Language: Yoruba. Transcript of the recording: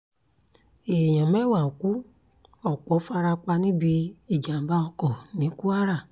èèyàn mẹ́wàá ku ọ̀pọ̀ fara pa níbi ìjàm̀bá oko ní kwara